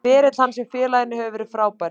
Ferill hans hjá félaginu hefur verið frábær.